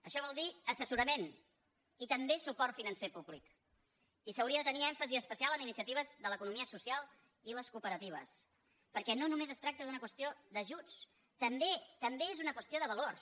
això vol dir assessorament i també suport financer públic i s’hauria de tenir èmfasi especial en iniciatives de l’economia social i les cooperatives perquè no només es tracta d’una qüestió d’ajuts també és una qüestió de valors